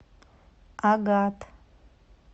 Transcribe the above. агат